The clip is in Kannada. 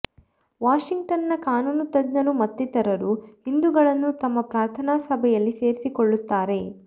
ವಾಷಿಂಗ್ಟನ್ನ ಕಾನೂನು ತಜ್ಞರು ಮತ್ತಿತರರು ಹಿಂದೂಗಳನ್ನು ತಮ್ಮ ಪ್ರಾರ್ಥನಾ ಸಭೆಯಲ್ಲಿ ಸೇರಿಸಿಕೊಳ್ಳುತ್ತಾರೆ